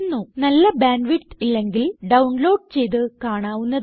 നല്ല bandwidth ഇല്ലെങ്കിൽ download ചെയ്ത് കാണാവുന്നതാണ്